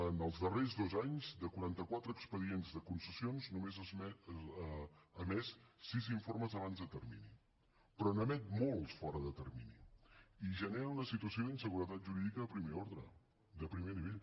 en els darrers dos anys de quaranta quatre expedients de concessions només ha emès sis informes abans de termini però n’emet molts fora de termini i genera una situació d’inseguretat jurídica de primer ordre de primer nivell